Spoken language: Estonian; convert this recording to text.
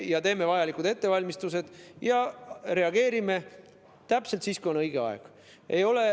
Me teeme vajalikud ettevalmistused ja reageerime täpselt siis, kui on õige aeg.